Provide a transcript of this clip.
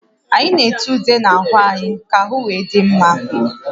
Anyị na-ete ude n'ahụ anyị ka ahụ wee dị mma